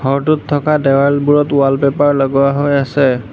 ঘৰটোত থকা দেৱালবোৰত ৱালপেপাৰ লগোৱা হৈ আছে।